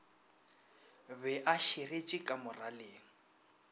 be a širetše ka moraleng